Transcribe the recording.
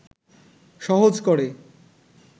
সহজ করে